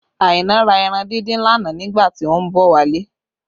Aina ra ẹran díndín lánàá nígbà tí ó ń bọ̀ wálé